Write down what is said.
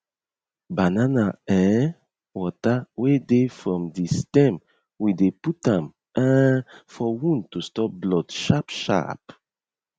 banana um water wey dey from the stem we dey put am um for wound to stop blood sharp sharp